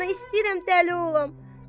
Vallah, ana, istəyirəm dəli olam.